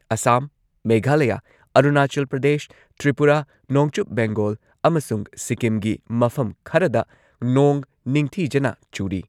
ꯑꯁꯥꯝ, ꯃꯦꯘꯥꯂꯌꯥ, ꯑꯔꯨꯅꯥꯆꯜ ꯄ꯭ꯔꯗꯦꯁ, ꯇ꯭ꯔꯤꯄꯨꯔꯥ, ꯅꯣꯡꯆꯨꯞ ꯕꯦꯡꯒꯣꯜ ꯑꯃꯁꯨꯡ ꯁꯤꯛꯀꯤꯝꯒꯤ ꯃꯐꯝ ꯈꯔꯗ ꯅꯣꯡ ꯅꯤꯡꯊꯤꯖꯅ ꯆꯨꯔꯤ꯫